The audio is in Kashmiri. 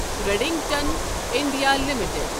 Redington India limited